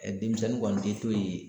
denmisɛnnin kɔni bɛ to yen